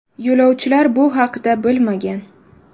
Yo‘lovchilar bu haqda bilmagan.